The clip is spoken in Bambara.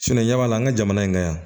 ɲɛ b'a la an ka jamana in ka yan